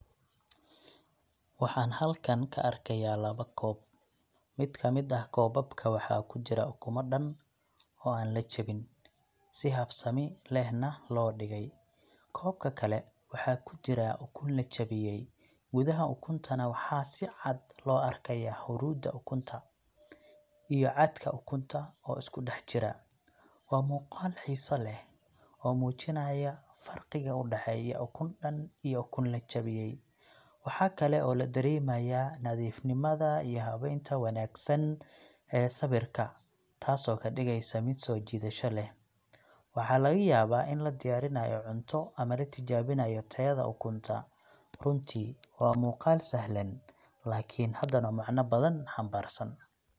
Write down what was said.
Waxaan halkan ka arkayaa laba koob. Mid ka mid ah koobabka waxa ku jira ukumo dhan oo aan la jebin, si habsami lehna loo dhigey. Koobka kale waxa ku jira ukun la jebiyey, gudaha ukuntaana waxaa si cad loo arkayaa huruudda ukunta iyo cadka ukunta oo isku dhex jira. Waa muuqaal xiiso leh oo muujinaya farqiga u dhexeeya ukun dhan iyo ukun la jebiyey. Waxa kale oo la dareemayaa nadiifnimada iyo habaynta wanaagsan ee sawirka, taasoo ka dhigaysa mid soo jiidasho leh. Waxaa laga yaabaa in la diyaarinayo cunto ama la tijaabinayo tayada ukunta. Runtii waa muuqaal sahlan laakiin hadana macno badan xambaarsan.